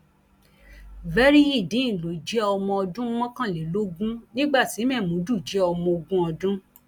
veryideen ló jẹ ọmọ ọdún mọkànlélógún nígbà tí mémúdù jẹ ọmọ ogún ọdún